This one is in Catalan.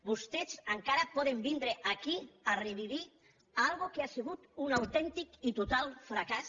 vostès encara poden vindre aquí a reviure una cosa que ha sigut un autèntic i total fracàs